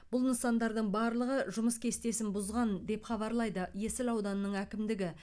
бұл нысандардың барлығы жұмыс кестесін бұзған деп хабарлайды есіл ауданының әкімдігі